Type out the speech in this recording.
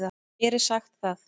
Mér er sagt það.